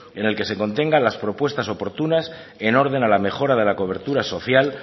en el que se contenga las propuestas oportunas en orden a la mejora de la cobertura social